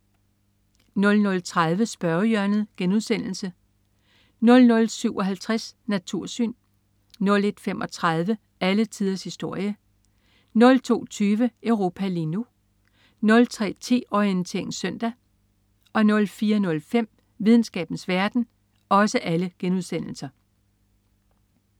00.30 Spørgehjørnet* 00.57 Natursyn* 01.35 Alle tiders historie* 02.20 Europa lige nu* 03.10 Orientering Søndag* 04.05 Videnskabens verden*